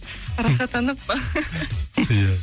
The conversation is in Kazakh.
рахаттанып па ия